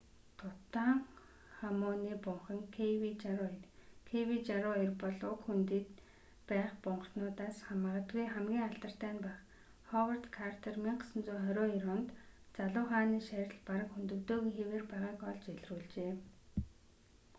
тутанхамуны бунхан kv62. kv62 бол уг хөндийд байх бунхануудаас магадгүй хамгийн алдартай нь байх ховард картер 1922 онд залуу хааны шарил бараг хөндөгдөөгүй хэвээр байгааг олж илрүүлжээ